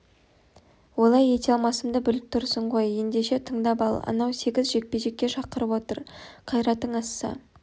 олай ете алмасымды біліп тұрсың ғой ендеше тыңдап ал анау сегіз жекпе-жекке шақырып отыр қайратың асса